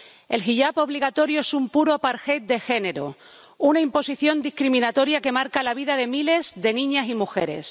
El hiyab obligatorio es un puro apartheid de género, una imposición discriminatoria que marca la vida de miles de niñas y mujeres.